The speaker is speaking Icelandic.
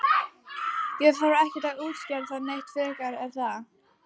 Ég þarf ekkert að útskýra það neitt frekar er það?